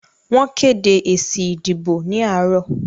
Wọ́n kédé èsì ìdìbò ní àárọ̀.